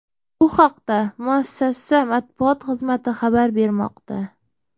Bu haqda muassasa matbuot xizmati xabar bermoqda .